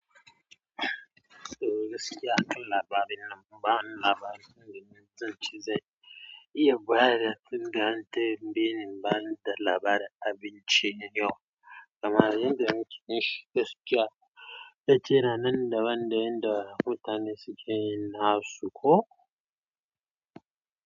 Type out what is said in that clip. Eh gaskiya kan labarin nan ba wani labari ne wajen yin cin zai, iya bayar da fim da antey biyu ban da labari abin ciye yawa. Kamar yanda muke yinshi gaskiya, dace ranan da wanda yanda mutane suke yin nasu ko.